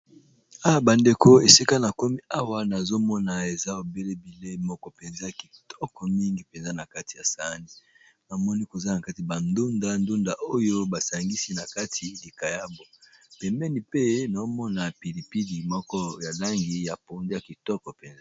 Awa bandeko esika na komi awa nazomona eza ebele bileyi moko mpenza kitoko mingi mpenza na kati ya sani namoni koza na kati bandunda ndunda oyo basangisi na kati likayabo pembeni pe na omona pilipidi moko ya langi ya pondu ya kitoko mpenza